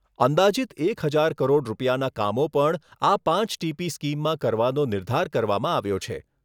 અંદાજિત એક હજાર કરોડ રૂપિયાના કામો પણ આ પાંચ ટીપી સ્કીમમાં કરવાનો નિર્ધાર કરવામાં આવ્યો છે.